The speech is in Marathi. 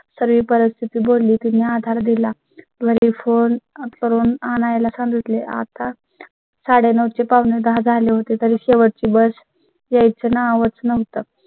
सर्व परिस्थिती बोलले तुम्ही आधार दिला. फोने करून आणायला सांगितले. आता साडेनऊ ते पावणेदहा झाले होते तर शेवटची bus यायचे नावच नव्हतं.